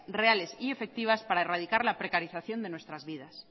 reales y efectivas para erradicar la precarización de nuestras vidas